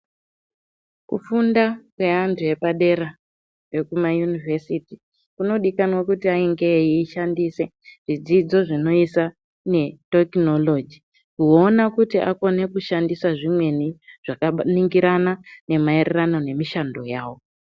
Kufunda kweantu epadera ekuma yunovhesiti kunodikanwa kuti ainge eishandise zvidzidzo zvinosa netekinoroji. Kuona kuti akona kushandisa zvimweni zvaka ningirana nemaererano nemishando yavo.